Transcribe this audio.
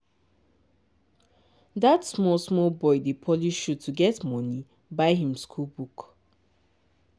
that small small boy dey polish shoe to take get money buy him school book.